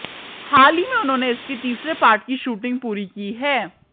हाल ही में उन्होंने इसके तीसरे पार्ट की शूटिंग पूरी की है